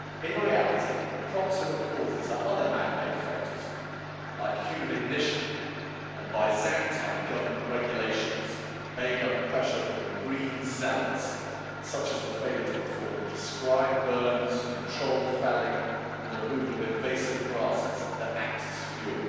In reality, the proximate causes are other man made factors, like human ignition and Byzantine government regulations made under pressure from the green zealots, such as the failure to perform prescribed burns, controlled felling and the removal of invasive grasses that act as fuel.